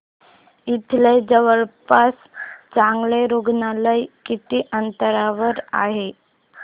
इथे जवळपास चांगलं रुग्णालय किती अंतरावर आहे